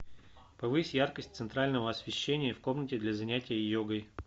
повысь яркость центрального освещения в комнате для занятия йогой